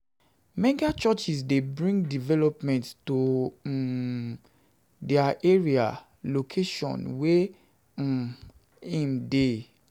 Mega churches de bring development to um di area or location wey um in de